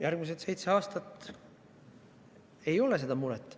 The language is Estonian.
Järgmised seitse aastat ei ole seda muret.